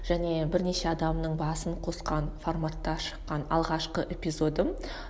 және бірнеше адамның басын қосқан форматта шыққан алғашқы эпизодым